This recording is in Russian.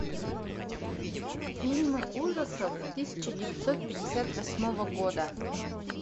фильмы ужасов тысяча девятьсот пятьдесят восьмого года